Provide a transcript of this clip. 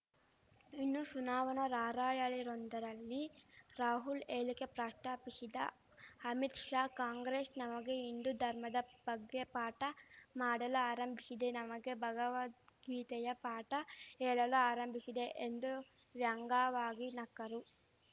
ಇನ್ನು ಶುನಾವಣಾ ರಾರ‍ಯಲಿಯೊಂದರಲ್ಲಿ ರಾಹುಲ್‌ ಹೇಳಿಕೆ ಪ್ರಸ್ತಾಪಿಸಿದ ಅಮಿತ್‌ ಶಾ ಕಾಂಗ್ರೆಶ್ ನಮಗೆ ಹಿಂದೂ ಧರ್ಮದ ಬಗ್ಗೆ ಪಾಠ ಮಾಡಲು ಆರಂಭಿಶಿದೆ ನಮಗೆ ಭಗವದ್ಗೀತೆಯ ಪಾಠ ಹೇಳಲು ಆರಂಭಿಶಿದೆ ಎಂದು ವ್ಯಂಗವಾಗಿ ನಕ್ಕರು